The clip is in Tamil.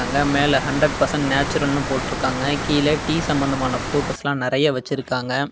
இங்க மேல ஹண்ட்ரெட் பர்சென்ட் நேச்சுரல்னு போட்டுருக்காங்க கீழ டீ சம்பந்தமான போட்டோஸ்லா நெறய வெச்சிருக்காங்க.